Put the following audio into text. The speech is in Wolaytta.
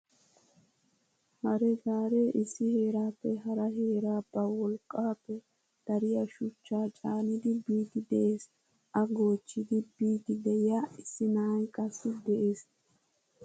Hare gaaree issi heerappe hara heeraa ba wolqqappe dariyaa shuchcha caanidi biidi de'ees. A goochchidi biidi de'iyaa issi na'ay qassi de'ees.